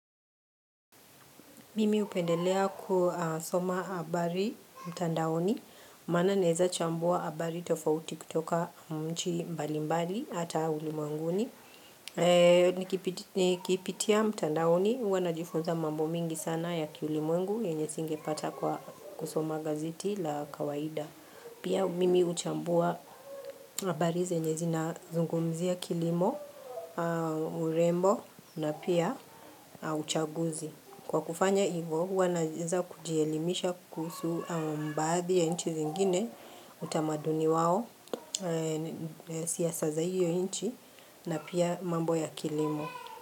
Mimi hupendelea ku kusoma habari mtandaoni, maana naeza chambua habari tofauti kutoka mechi mbali mbali, hata ulimwenguni. Nikipitia mtandaoni, huwa najifunza mambo mingi sana ya kiulimwengu, yenye singepata kwa kusoma gazeti la kawaida. Pia mimi huchambua habari zenye zinazungumzia kilimo, urembo na pia uchaguzi. Kwa kufanya hivyo, huwa najeza kujielimisha kuhusu baadhi ya nchi zingine utamaduni wao siyasa za hiyo inchi na pia mambo ya kilimo.